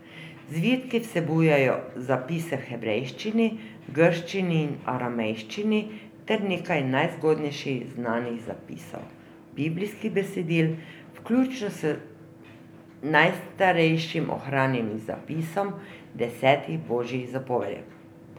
Zvitki vsebujejo zapise v hebrejščini, grščini in aramejščini ter nekaj najzgodnejših znanih zapisov biblijskih besedil, vključno z najstarejšim ohranjenim zapisom desetih Božjih zapovedi.